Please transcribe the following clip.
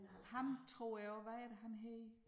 Ham tror jeg også hvad er det han hedder